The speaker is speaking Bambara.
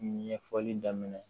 Ɲɛfɔli daminɛ